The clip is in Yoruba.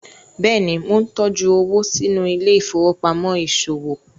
béèni món ntọjú owo sínú Ile-ifowopamọ iṣowo